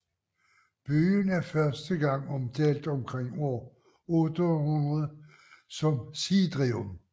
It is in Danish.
Byen er første gang omtalt omkring år 800 som Sidrium